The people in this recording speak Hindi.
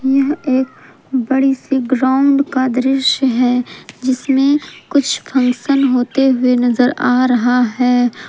यह एक बड़े से ग्राउंड का दृश्य है जिसमें कुछ फंक्शन होता हुआ नजर आ रहा है।